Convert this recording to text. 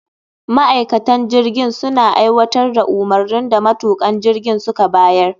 Ma'aikatan jirgin suna aiwatar da umarnin da matukan jirgin suka bayar